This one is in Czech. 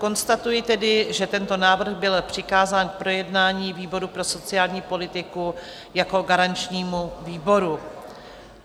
Konstatuji tedy, že tento návrh byl přikázán k projednání výboru pro sociální politiku jako garančnímu výboru.